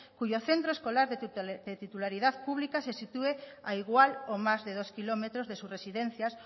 cuyo centro escolar de titularidad pública se sitúe a igual o más de dos kilómetros de su residencias